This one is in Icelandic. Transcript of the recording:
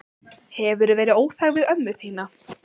Hefurðu verið óþæg við ömmu þína?